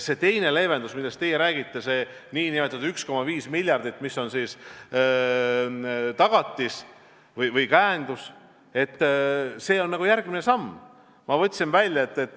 See teine leevendus, millest teie räägite, see 1,5 miljardit, mis on siis tagatis või käendus, see on järgmine samm.